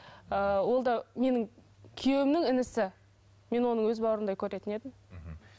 ыыы ол да менің күйеуімнің інісі мен оны өз бауырымдай көретін едім мхм